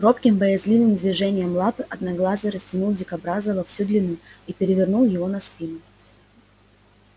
робким боязливым движением лапы одноглазый растянул дикобраза во всю длину и перевернул его на спину